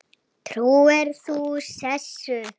Trúir þú þessu?